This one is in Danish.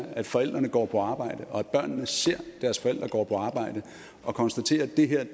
at forældrene går på arbejde og at børnene ser at deres forældre går på arbejde og konstaterer at det er